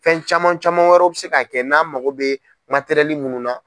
Fɛn caman caman wɛrɛ bi se ka kɛ n'an mago bɛ minnu na.